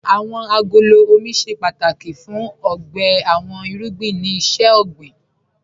Awọn agolo ọmọ ṣẹ pátákì fún ọgbè àwọn irugbìn ni iṣẹ̀-ọgbìN